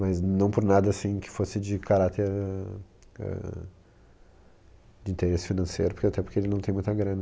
Mas não por nada, assim, que fosse de caráter ãh... Ãh de interesse financeiro, porque até porque ele não tem muita grana.